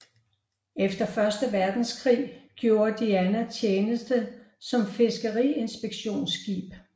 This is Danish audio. Efter første verdenskrig gjorde Diana tjeneste som fiskeriinspektionsskib